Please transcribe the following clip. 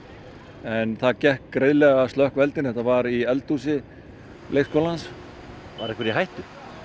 en það gekk greiðlega að slökkva eldinn þetta var í eldhúsi leikskólans var einhver í hættu